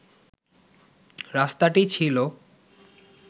রাস্তাটি ছিল